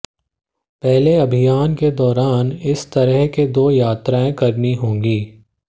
पहले अभियान के दौरान इस तरह के दो यात्राएं करनी होगी